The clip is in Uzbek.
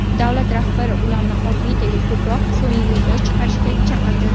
Davlat rahbari ularni orbitaga ko‘proq sun’iy yo‘ldosh chiqarishga chaqirdi.